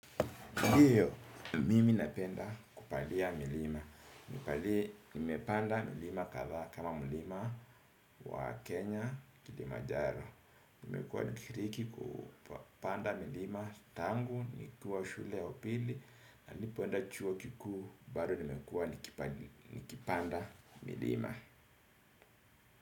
Ndiyo, mimi napenda kupandia milima. Nipale, nimepanda milima kadhaa kama mlima wa Kenya, kilimajaro. Nimekuwa nikiriki kupanda milima tangu, nikiwa shule ya upili, na nilipoenda chuo kikuu bado nimekuwa nikipanda milima.